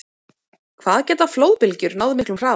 Hvað geta flóðbylgjur náð miklum hraða?